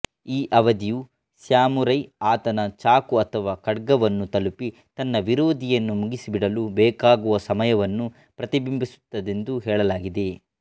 ಈ ಅವಧಿಯು ಸ್ಯಾಮುರೈ ಆತನ ಚಾಕು ಅಥವಾ ಖಡ್ಗವನ್ನು ತಲುಪಿ ತನ್ನ ವಿರೋಧಿಯನ್ನು ಮುಗಿಸಿಬಿಡಲು ಬೇಕಾಗುವ ಸಮಯವನ್ನು ಪ್ರತಿಬಿಂಬಿಸುತ್ತದೆಂದು ಹೇಳಲಾಗಿದೆ